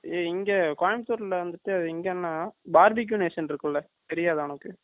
இங்க Coimbatore ல வந்துட்டு இங்கனா பாரதி creation ல இருக்கும்ல தெரியாது உனக்கு